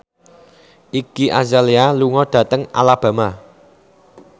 Iggy Azalea lunga dhateng Alabama